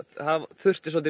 þurfti